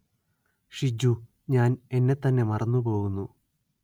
ഷിജു ഞാന്‍ എന്നെ തന്നെ മറന്നു പോകുന്നു